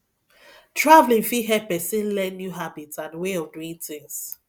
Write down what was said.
travelling fit help person learn new habits and way of of doing tins